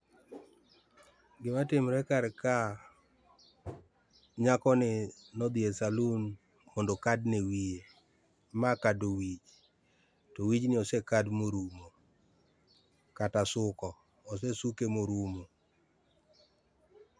Gima timre kar ka, nyakoni nodhi e saloon mondo okadne wiye. Ma kado wich to wijni ose kad morumo, kata suko, osesuke morumo.